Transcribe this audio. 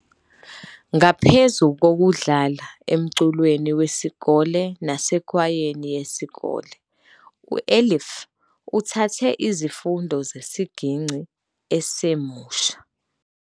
Ngaphezu kokudlala emculweni wesikole nasekwayeni yesikole, u-Elif uthathe izifundo zesigingci esemusha.